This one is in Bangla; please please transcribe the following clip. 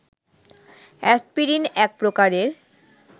অ্যাসপিরিন এক প্রকারের